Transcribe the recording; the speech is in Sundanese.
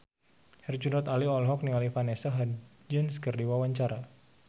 Herjunot Ali olohok ningali Vanessa Hudgens keur diwawancara